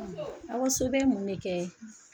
Awa So bɛ mun ne kɛ?